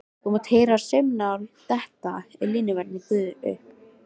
Það mátti heyra saumnál anda og línuverðirnir gufuðu upp.